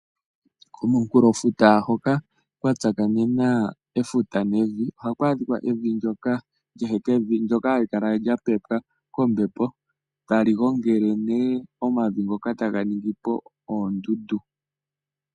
Komunkulofuta hoka kwa tsakanena efuta nevi, ohaku adhika evi ndyoka lyehekevi, ndyoka hali kala lyapepwa kombepo, tali gongele ne omavi ngoka e taga ningi oondundu.